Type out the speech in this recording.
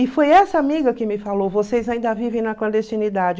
E foi essa amiga que me falou, vocês ainda vivem na clandestinidade.